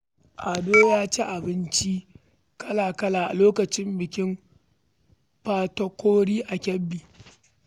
Ado ya ci abinci kala-kala a lokacin bikin Patakori a Kebbi.